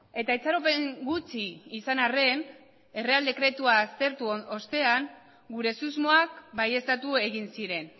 eta itxaropen gutxi izan arren erreal dekretua aztertu ostean gure susmoak baieztatu egin ziren